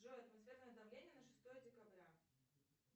джой атмосферное давление на шестое декабря